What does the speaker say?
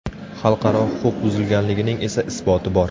Xalqaro huquq buzilganligining esa isboti bor.